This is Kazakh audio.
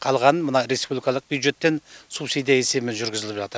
қалғанын мына республикалық бюджеттен субсидия есебімен жүргізіліп жатыр